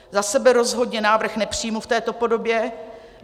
Za sebe rozhodně návrh nepřijmu v této podobě.